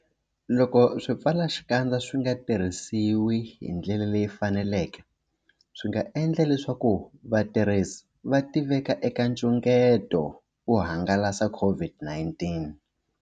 Loko swipfalaxikandza swi nga tirhisiwi hi ndlela leyi faneleke, swi nga endla leswaku vatirhisi va tiveka eka nxungeto wo hangalasa COVID-19.